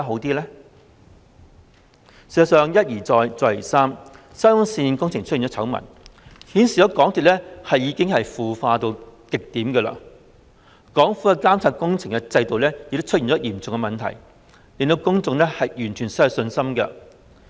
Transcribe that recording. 事實上，沙中線工程一而再、再而三出現醜聞，顯示港鐵公司已經腐化至極點，政府的監察工程制度亦出現嚴重問題，令公眾完全失去信心。